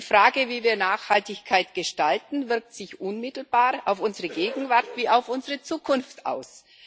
Die Frage, wie wir Nachhaltigkeit gestalten, wirkt sich unmittelbar auf unsere Gegenwart wie auf unsere Zukunft aus.